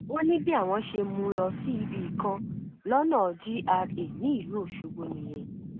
ó ní bí àwọn ṣe mú un lọ sí ibì kan lọnà gra nílùú ọṣọgbó nìyẹn